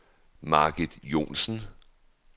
Margit Johnsen